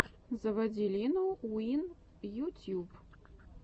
заводи лину уин ютьюб